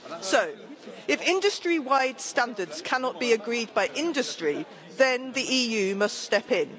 So, if industry wide standards cannot be agreed by industry then the EU must step in.